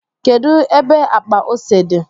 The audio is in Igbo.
kedu ebe akpa ose di?